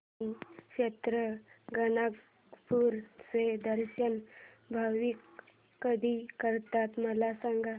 श्री क्षेत्र गाणगापूर चे दर्शन भाविक कधी करतात मला सांग